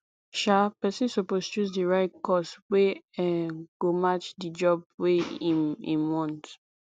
um persin suppose choose di right course wey um go match di job wey im im want